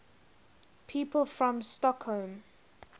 people from stockholm